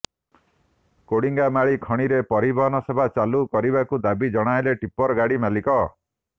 କୋଡିଙ୍ଗାମାଳି ଖଣିରେ ପରିବହନ ସେବା ଚାଲୁ କରିବାକୁ ଦାବି ଜଣେଇଲେ ଟିପ୍ପରଗାଡି ମାଲିକ